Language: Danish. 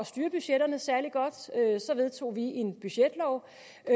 styre budgetterne særlig godt så vedtog vi en budgetlov